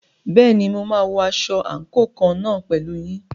Bẹ́ẹ̀ni, mo máa wọ aṣọ àǹkóò kan náà pẹ̀lú yín.